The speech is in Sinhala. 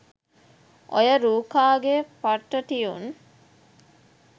ඔය රූකා ගේ පට්ට ටියුන්